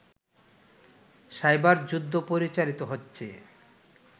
cyber যুদ্ধ পরিচালিত হচ্ছে